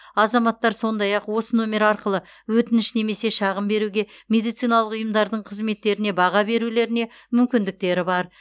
азаматтар сондай ақ осы нөмер арқылы өтініш немесе шағым беруге медициналық ұйымдардың қызметтеріне баға берулеріне мүмкіндіктері бар